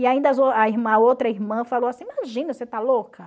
E ainda a outra irmã falou assim, imagina, você está louca?